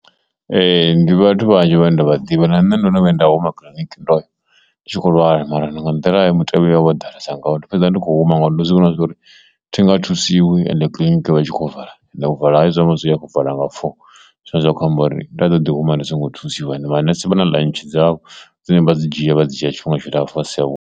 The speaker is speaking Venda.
Ee, ndi vhathu vhanzhi vha nda vha ḓivha na nṋe ndo no vhuya nda huma kiḽiniki ndo ya ndi tshi kho lwala mara ndo nga nḓila ye mutevhe o ḓalesa ngori fhedza ndi khou huma nga uri ndo zwi vhona zwori thi nga thusiwa u ende kiḽiniki vha tshi khou vala and u vala hayo zwi akho vala nga four, zwine zwa khou amba uri nda ṱoḓi huma ndi songo thusiwa ende manese vha na ḽantshi dzavho dzine vha dzi dzhia vha dzi dzhia tshifhinga tshilapfu vha si tsha vhuya.